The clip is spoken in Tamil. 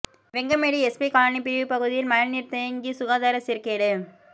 வெங்கமேடு எஸ்பி காலனி பிரிவு பகுதியில் மழை நீர் தேங்கி சுகாதார சீர்கேடு